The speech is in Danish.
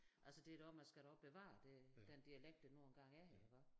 Altså det da også man skal da også bevare det den dialekt der nu engang er her iggå